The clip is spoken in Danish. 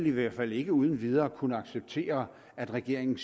i hvert fald ikke uden videre kunne acceptere at regeringen